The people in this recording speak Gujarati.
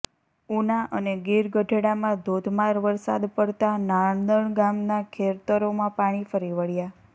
ઉના અને ગીર ગઢડામાં ધોધમાર વરસાદ પડતા નાંદણ ગામના ખેતરોમાં પાણી ફરી વળ્યા